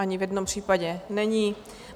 Ani v jednom případě není.